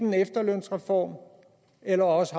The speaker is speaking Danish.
en efterlønsreform eller også